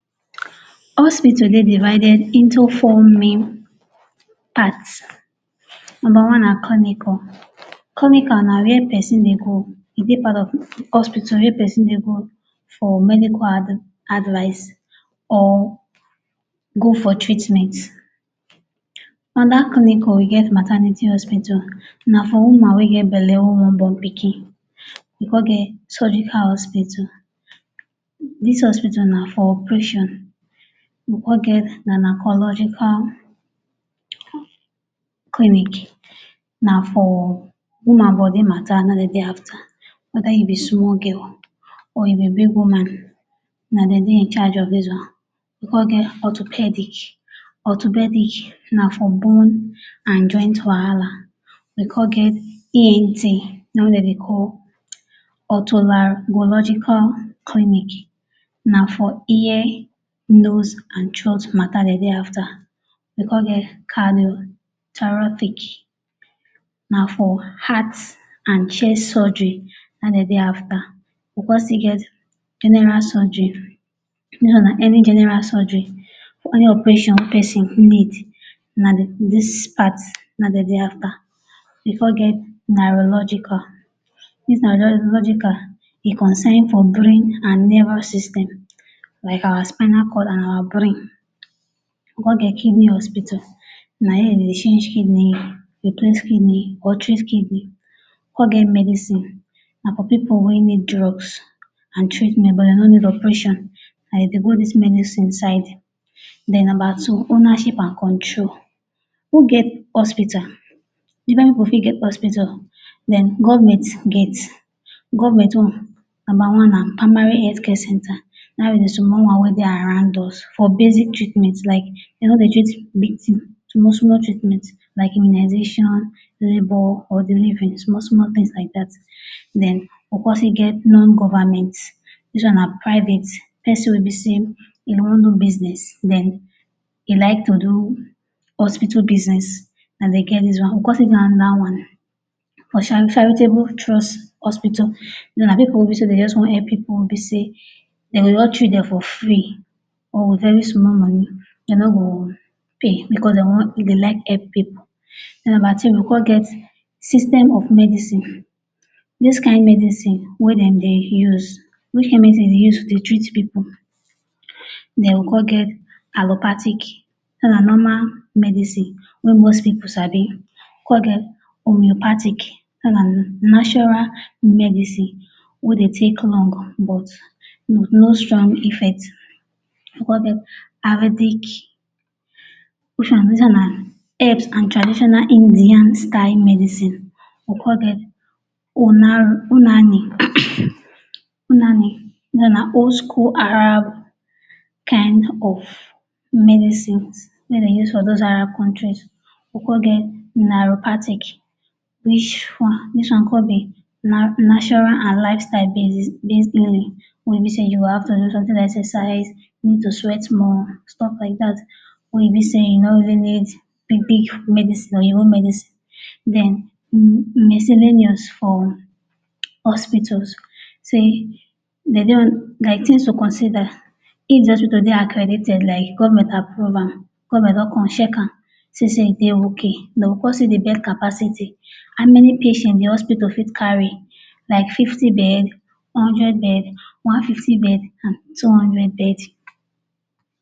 All seem to dey divided in to four main part, number one na clinical. Clinical na wia pesin dey go, e dey part of hospital wey pesin dey go for medical advice or go for treatment, anoda Clinical, e get maternity hospital na for woman wey get belle wey wan born pikin, we come get surgical hospital, dis hospital na for operation. We come get gynaecological clinic na for woman body matta na im dem dey afta, weda you be small girl o, or you be big woman, na dem dey incharge of dis one. We come get orthopaedic. Orthopaedic na for bone and joint wahala. We come get ENT na im wey dey dey call otolaryngological clinic na for ear, nose and throat matta dem dey afta we come get Cardiothoracic na for heart and chest surgery na hin dem dey after, we come still get General surgery, this one na any general surgery any operation pesin fit make na this part na hin dem dey after. we come get neurological dis neurological e concern for brain and nerval system like our spinal cord and our brain. We come get kidney hospital na here dem dey change kidney, replace kidney or treat kidney come get medicine na for pipu wey need drugs and treatment but dem no need operation na dem dey go this medicine side. Den Number two, ownership and control. Who get hospital, even pipu fit get hospital den govment get, govment own number na primary health care center. Na im be di small one wet dey around us for basic treatment like dem no dey treat big tin, small small treatment like immunisation, labour or delivery small small tins like dat. Den come still get nongovment. Dis one na private place wey be say e wan do biznes, dem like to do hospital biznes na dem get dis one. We come still get anoda one, for charitable trust hospital, dis one na pipu wey be say dem just wan help pipu wey be say dem go just treat dem for free or wit very small money, dey no go pay bicos dem dey like help pipu. Den number three we come get system of medicine, which kain medicine wey dem dey use, which kai medicine dem dey use dey treat pipu. Den we come get allopathic, dis one na normal medicine wey most pipu sabi. We come get homeopathic dis na Natural medicine wey dey take long but wit no strong effect, we come get Arabic, which one dis one na herbs and traditional indian style medicine. We come get unani. Dis one na old school Arab kind ofmedicines wey dem use for dos Arab countries, we come get neuropathic, dis one come be natural and lifestyle basis, wey be say you go have to do somtin like exercise to sweet more stuff like dat wey e bi say you no even need big big medicine oyinbo medicine. miscellaneous for hospitals say like tins to consider if di hospital dey accredited like govment approve am, govment don come check am see sat e dey ok dem go come see di bed capacity how many patients di hospital fit carry, like fifty beds, hundred beds, one fifty bed and two hundred beds